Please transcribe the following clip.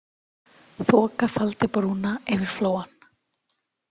Þoka faldi brúna yfir Flóann.